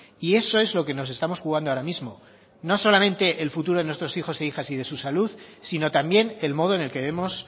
y eso es lo que nos estamos jugando ahora mismo no solamente el futuro de nuestros hijos e hijas y de su salud sino también el modo en el que vemos